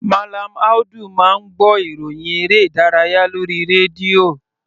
Mallam Audu máa ń gbọ́ ìròhìn eré ìdárayá lórí rédíò.